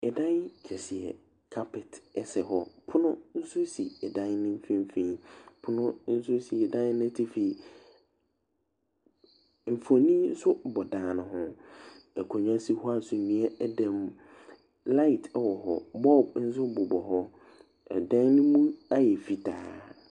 Ɛdan kɛseɛ, kapɛt ɛsɛ hɔ. Pono nso si ɛdan no mfinfini. Pono ɛnso si ɛdan no atifi. Mfoni nso bɔ ɛdan no ho. Akondwa si hɔ a sumiɛ da mu. Laet ɛwɔ hɔ , bɔɔb nso bobɔ hɔ. Ɛdan no mu ayɛ fitaa.